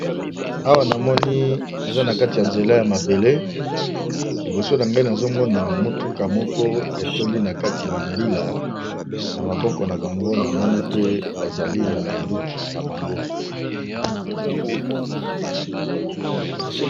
Awa namoni eza na kati ya nzela ya mabele. Liboso na ngai nazomgona motuka moko etondi na kati bambila na maboko na bango namoni pe bazali na minduki na bango.